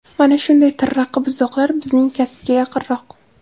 Mana shunday tirraqi buzoqlar bizning kasbga yaqinroq.